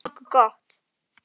Þetta er nokkuð gott.